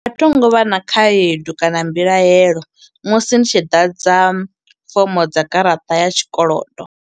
A tho ngo vha na khaedu kana mbilahelo musi ndi tshi ḓadza fomo dza garaṱa ya tshikolodo.